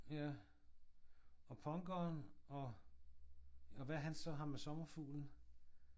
Ja og punkeren og hvad er han så ham med sommerfuglen?